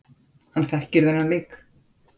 Hann þekkir þennan leik.